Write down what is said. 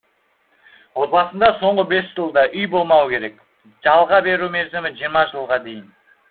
отбасында соңғы бес жылда үй болмауы керек жалға беру мерзімі жиырма жылға дейін